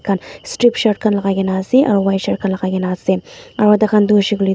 khan strip shirt khan lagaigena ase aru white shirt lagaigena ase aro taikhan toh huishey kuile tu.